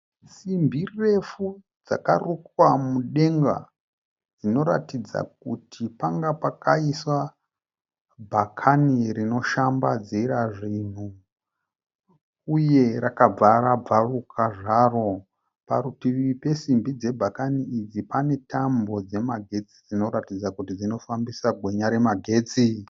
Simbi refu dzakarukwa mudenga dzinoratidza kuti panga pakaiswa bhakani rinoshambadzira zvinhu uye rakabva rabvaruka zvaro. Parutivi pesimbi dzebhakani idzi pane tambo dzemagetsi dzinoratidza kuti dzinofambisa gwenya remagetsi.